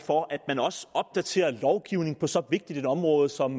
for at man også opdaterer lovgivningen på så vigtigt et område som